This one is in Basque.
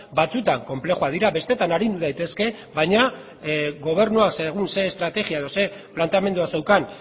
batzutan konplexuak dira besteetan arindu daitezke baina gobernuak segun eta ze estrategia edo ze planteamendua zeukan